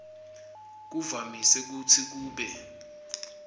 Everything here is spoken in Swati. kuvamise kutsi kube